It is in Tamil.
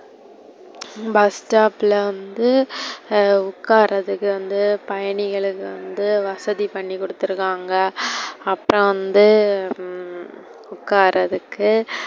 bus stop ல வந்து உக்காரதுக்கு வந்து பயணிகளுக்கு வந்து வசதி பண்ணிகுடுத்து இருக்காங்க. அப்புறோ வந்து உம் உக்காரதுக்கு,